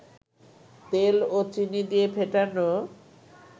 তেল ও চিনি দিয়ে ফেটান